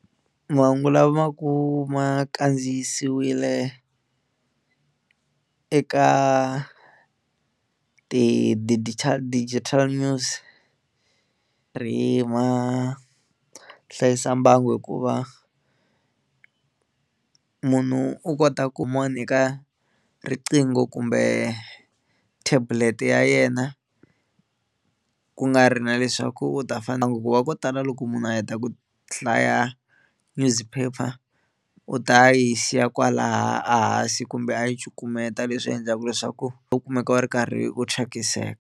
Mahungu lama ma va ku ma kandziyisiwile eka ti-digital digital news ri ma hlayisa mbangu hikuva munhu u kota ku eka riqingho kumbe tablet ya yena ku nga ri na leswaku u ta hikuva ko tala loko munhu a heta ku hlaya newspaper u ta yi siya kwalaha a hansi kumbe a yi cukumeta leswi endlaka leswaku u kumeka u ri karhi u thyakiseka.